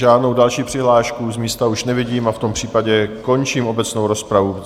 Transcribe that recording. Žádnou další přihlášku z místa už nevidím a v tom případě končím obecnou rozpravu.